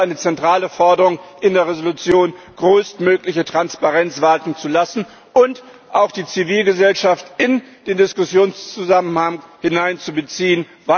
Das ist eine zentrale Forderung in der Entschließung größtmögliche Transparenz walten zu lassen und auch die Zivilgesellschaft in den Diskussionszusammenhang einzubeziehen.